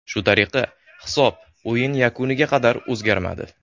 Shu tariqa hisob o‘yin yakuniga qadar o‘zgarmadi.